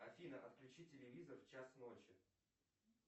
афина отключи телевизор в час ночи